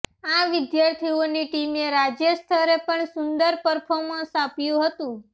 આ વિદ્યાર્થીઓની ટીમે રાજ્ય સ્તરે પણ સુંદર પરફોર્મન્સ આપ્યું હતુ